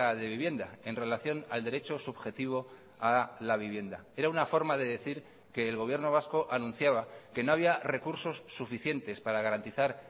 de vivienda en relación al derecho subjetivo a la vivienda era una forma de decir que el gobierno vasco anunciaba que no había recursos suficientes para garantizar